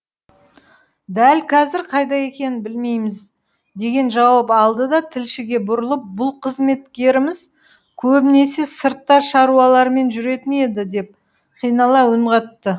дәл қазір қайда екенін білмейміз деген жауап алды да тілшіге бұрылып бұл қызметкеріміз көбінесе сыртта шаруалармен жүретін еді деп қинала үн қатты